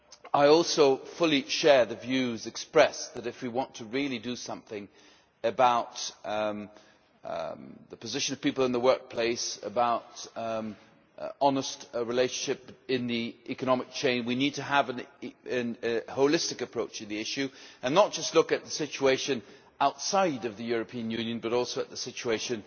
I also fully share the views expressed that, if we want to really do something about the position of people in the workplace and about honest relationships in the economic chain, we need to have a holistic approach to the issue and look not just at the situation outside of the European Union but also at the situation